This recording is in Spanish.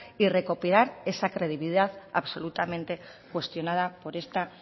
y recopilar esa credibilidad absolutamente cuestionada por esta